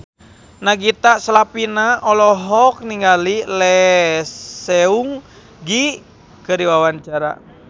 Nagita Slavina olohok ningali Lee Seung Gi keur diwawancara